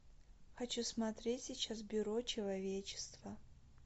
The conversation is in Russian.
хочу смотреть сейчас бюро человечества